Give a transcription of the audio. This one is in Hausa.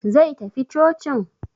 Zai tafi cocin?